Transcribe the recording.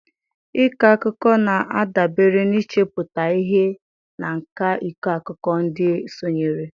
Ịkọ akụkọ na-adabere n'ichepụta ihe na nkà ịkọ akụkọ nke ndị sonyere.